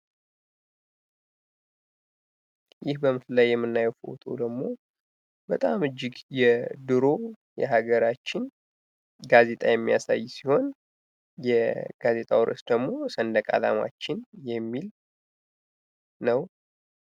ይህ በምስሉ ላይ የምናየው ደግሞ በጣም እጂግ የዱሮ የሀገራችን ጋዜጣ የሚያሳይ ሲሆን የጋዜጣው ርእስ ደግሞ ሰንድቅ አላማችን የሚል ነው።